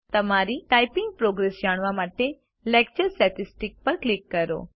તમારી typing progress જાણવા માટે લેક્ચર સ્ટેટિસ્ટિક્સ પર ક્લિક કરો